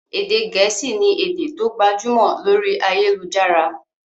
Èdè gẹ̀ẹ́sì ni èdè tó gbajúmọ̀ lórí ayélujára.